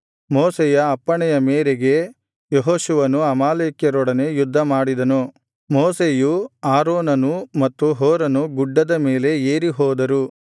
ಮೋಶೆಯ ಅಪ್ಪಣೆಯ ಮೇರೆಗೆ ಯೆಹೋಶುವನು ಅಮಾಲೇಕ್ಯರೊಡನೆ ಯುದ್ಧಮಾಡಿದನು ಮೋಶೆಯೂ ಆರೋನನೂ ಮತ್ತು ಹೂರನು ಗುಡ್ಡದ ಮೇಲೆ ಏರಿ ಹೋದರು